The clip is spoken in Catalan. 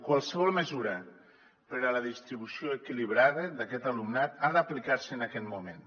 qualsevol mesura per a la distribució equilibrada d’aquest alumnat ha d’aplicar se en aquest moment